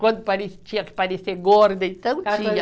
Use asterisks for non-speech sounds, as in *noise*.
Quando *unintelligible* tinha que parecer gorda, então tinha.